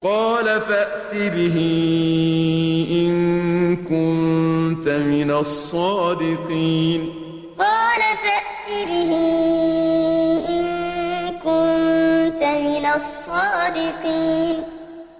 قَالَ فَأْتِ بِهِ إِن كُنتَ مِنَ الصَّادِقِينَ قَالَ فَأْتِ بِهِ إِن كُنتَ مِنَ الصَّادِقِينَ